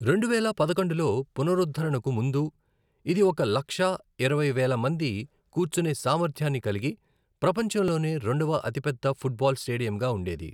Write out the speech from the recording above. రెండువేల పదకొండులో పునరుద్ధరణకు ముందు, ఇది ఒక లక్ష ఇరవై వేల మంది కూర్చునే సామర్థ్యాన్ని కలిగి, ప్రపంచంలోనే రెండవ అతిపెద్ద ఫుట్బాల్ స్టేడియంగా ఉండేది